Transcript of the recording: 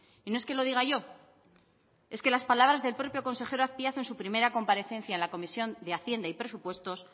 y no es que lo diga yo es que las palabras del propio consejero azpiazu en su primera comparecencia en la comisión de hacienda y presupuestos